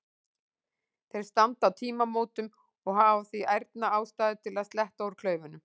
Þeir standa á tímamótum og hafa því ærna ástæðu til að sletta úr klaufunum.